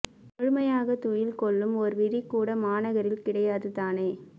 முழுமையாகத் துயில் கொள்ளும் ஒரு வீதி கூட மாநகரில் கிடையாது தானோ